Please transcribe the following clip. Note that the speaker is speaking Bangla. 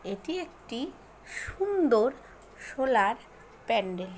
এটি একটি সুন্দর সোলার প্যান্ডেল ।